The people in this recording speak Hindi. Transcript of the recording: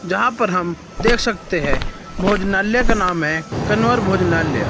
जहां पर हम देख सकते हैं भोजनालय का नाम है कनवर भोजनालय।